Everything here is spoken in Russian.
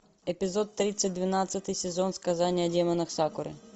эпизод тридцать двенадцатый сезон сказание о демонах сакуры